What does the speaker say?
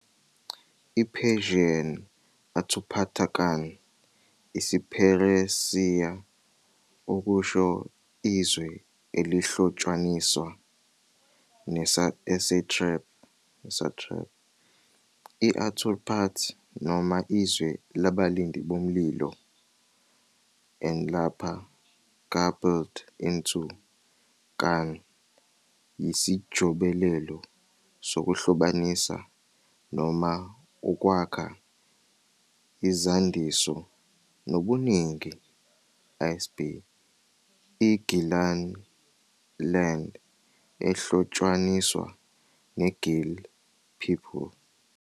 I-Persian Āturpātakān, isiPheresiya - okusho 'izwe elihlotshaniswa, ne-satrap, i-Aturpat' noma 'izwe labalindi bomlilo', -an, lapha garbled into -kān, yisijobelelo sokuhlobanisa noma ukwakha izandiso nobuningi, isb, I-Gilan 'land ehlotshaniswa neGil people'.